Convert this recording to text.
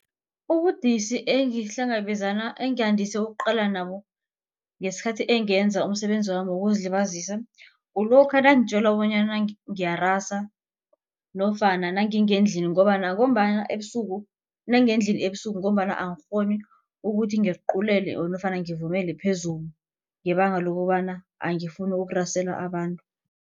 Ubudisi engandise ukuqalana nabo ngesikhathi engenza umsebenzi wami wokuzilibazisa. Kulokha nangitjelwa bonyana ngiyarasa nofana nangingendlini ngobana ngombana ebusuku nangendlini ebusuku ngombana angikghoni ukuthi ngiculele nofana ngivumele phezulu ngebanga lokobana angifuni ukurasela abantu.